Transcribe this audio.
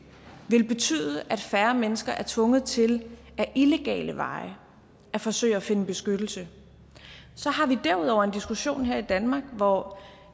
ville betyde at færre mennesker er tvunget til ad illegale veje at forsøge at finde beskyttelse så har vi derudover en diskussion her i danmark hvor